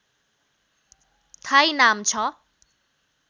Thai नाम छ